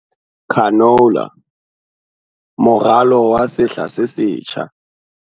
CANOLA - moralo wa sehla se setjha